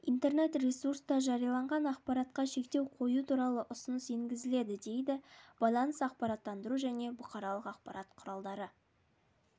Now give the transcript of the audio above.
интернет-ресурста жарияланған ақпаратқа шектеу қою туралы ұсыныс енгізеді дейді байланыс ақпараттандыру және бұқаралық ақпарат құралдары